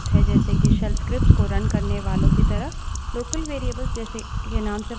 यह shells द्वारा बनाये गए सबशेल में भी उपलब्ध हैं जैसे के shells scripts को रन करने वालो की तरह